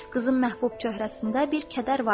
Qızın məhbub çöhrəsində bir kədər var idi.